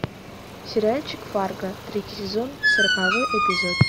сериальчик фарго третий сезон сороковой эпизод